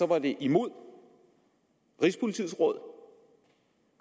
var det imod rigspolitiets råd